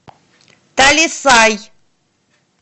талисай